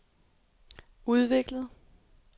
udviklet